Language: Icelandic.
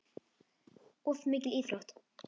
Of mikil íþrótt.